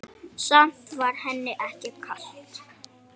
Samt var henni ekki kalt.